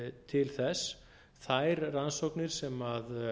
til þess þær rannsóknir sem